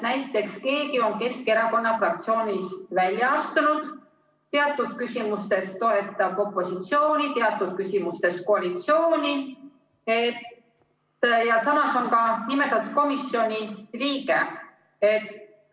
Näiteks kui keegi on Keskerakonna fraktsioonist välja astunud, teatud küsimustes toetab opositsiooni, teatud küsimustes koalitsiooni, aga samas on ka nimetatud komisjoni liige.